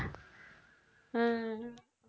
அஹ்